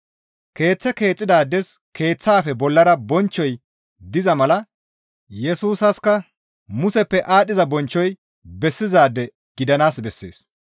Keeththe keexxidaades keeththaafe bollara bonchchoy diza mala Yesusaska Museppe aadhdhiza bonchchoy bessizaade gidanaas bessees.